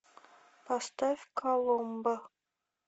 поставь коломбо